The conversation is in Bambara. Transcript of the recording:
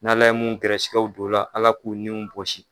N'Ala ye mun gɛrɛsɛgɛw don o la Ala k'u niw bosi.